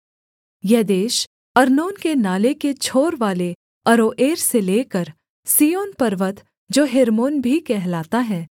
यह देश अर्नोन के नाले के छोरवाले अरोएर से लेकर सिय्योन पर्वत जो हेर्मोन भी कहलाता है